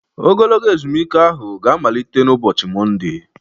Ogologo ezumike ahụ ga-amalite n' ụbọchị Mọnde